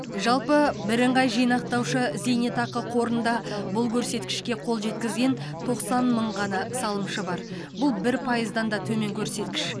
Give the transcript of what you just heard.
жалпы бірыңғай жинақтаушы зейнетақы қорында бұл көрсеткішке қол жеткізген тоқсан мың ғана салымшы бар бұл бір пайыздан да төмен көрсеткіш